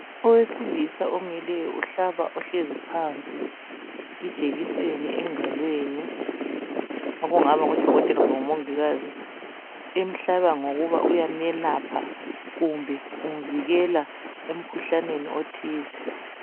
Owesilisa omileyo uhlaba ohlezi phansi ijekiseni engalweni okungaba ngudokotela kumbe ngumongikazi, emhlaba ngoba uyamelapha kumbe umvikela emkhuhlaneni othize.